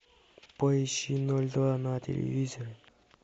поищи ноль два на телевизоре